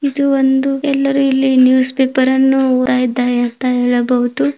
ಇದು ಒಂದು ಎಲ್ಲರೂ ಇಲ್ಲಿ ನ್ಯೂಸ್ ಪೇಪರ್ ಅನ್ನು ಓದ್ತಾ ಇದ್ದಾರೆ ಅಂತ ಹೇಳಬಹುದು.